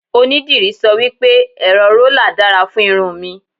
onidiri sọ wipe, ẹrọ rola dára fún irun mi